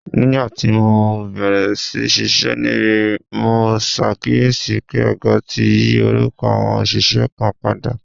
Nígbà tí mo bẹ̀rẹ̀ sí ṣiṣẹ́ níbí, mo ṣàkíyèsí pé ọ̀gá ti yí orúkọ àwọn òṣìṣẹ́ kan padà